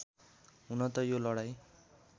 हुन त यो लडाईँ